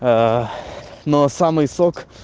аа но самый сок